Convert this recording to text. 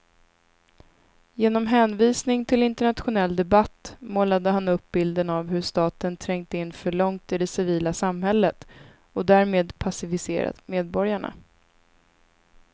Genom hänvisning till internationell debatt målade han upp bilden av hur staten trängt in för långt i det civila samhället och därmed passiviserat medborgarna.